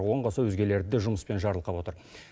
оған қоса өзгелерді де жұмыспен жарылқап отыр